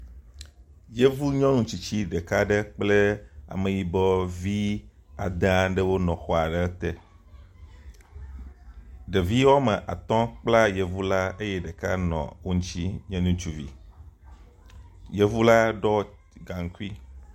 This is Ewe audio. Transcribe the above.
Yevunyɔnu tsitsi ɖeka aɖe kple ameyibɔ vi ade aɖewo nɔ xɔ aɖe te. Ɖevi wɔme atɔ kpla yevu la eye ɖeka nɔ wo ŋutsi nye ŋutsuvi. Yevu la ɖɔ gaŋkui.